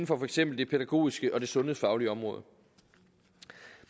for eksempel det pædagogiske og det sundhedsfaglige område